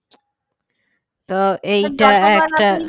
তো এইটা একটা